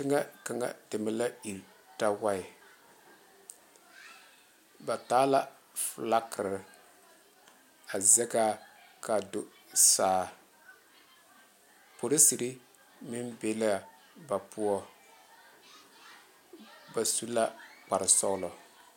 Teŋe kaŋ deme la iri tawaɛ ba ta la falakera a zaŋe kaŋ dou saa polisiri da be la ba poɔ ba su la kpaare sõɔlɔ .